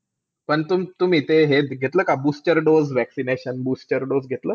पण तुम्ही ते हे ते booster dose घेतला का? Booster dose, vaccination, booster dose घेतला?